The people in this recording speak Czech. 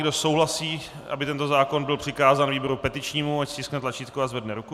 Kdo souhlasí, aby tento zákon byl přikázán výboru petičnímu, ať stiskne tlačítko a zvedne ruku.